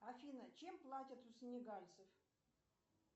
афина чем платят у синегальцев